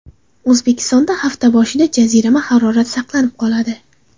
O‘zbekistonda hafta boshida jazirama harorat saqlanib qoladi.